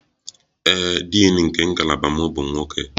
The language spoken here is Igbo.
Ee e, Din nke ngalaba m bụ nwoke